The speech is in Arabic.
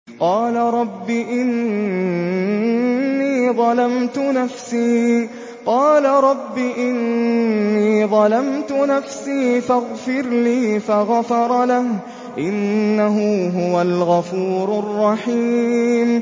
قَالَ رَبِّ إِنِّي ظَلَمْتُ نَفْسِي فَاغْفِرْ لِي فَغَفَرَ لَهُ ۚ إِنَّهُ هُوَ الْغَفُورُ الرَّحِيمُ